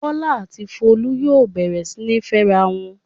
Bólú àti Folú yóò bẹ̀rẹ̀ sí ní fẹ́ra wọn!